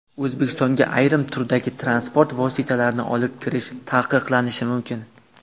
O‘zbekistonga ayrim turdagi transport vositalarini olib kirish taqiqlanishi mumkin.